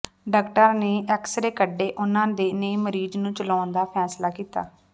ਡਾਕਟਰਾਂ ਨੇ ਐਕਸਰੇ ਕੱਢੇ ਉਨ੍ਹਾਂ ਨੇ ਮਰੀਜ਼ ਨੂੰ ਚਲਾਉਣ ਦਾ ਫੈਸਲਾ ਕੀਤਾ